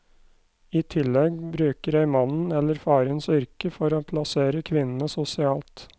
I tillegg bruker jeg mannen eller farens yrke for å plassere kvinnene sosialt.